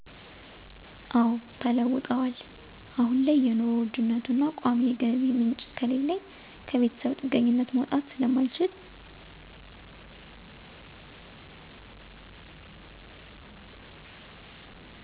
አወ ተለውጠዋል። አሁን ያለው የኑሮ ውድነቱና ቋሚ የገቢ ምንጭ ከሌለኝ ከቤተሰብ ጥገኝነት መውጣት ስለማልችል።